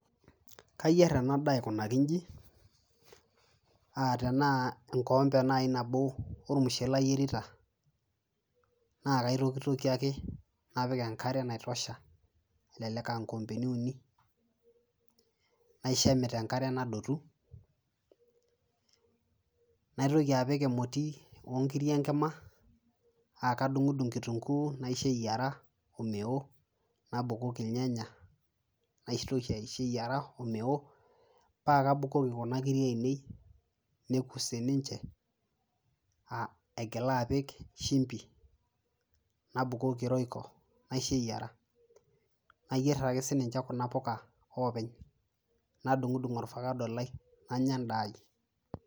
kayierr ena daa aikunaki inji atenaa enkoombe naaji ormushele ayierita naa kaitokitokie ake napik enkare naitosha elelek ankombeni uni naisho emit enkare nadotu naitoki apik emoti onkiri enkima akadung'udung kitunguu naisho eyiara omeo nabukoki ilnyanya naitoki aisho eyiara omeo paa kabukoki kuna kiri ainei neku sininche aigila apik shimbi nabukoki royco naisho eyiara nayierr ake sininche kuna puka openy nadung'udung orfakado lai nanya endaa ai.